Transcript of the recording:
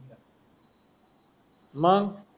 मंग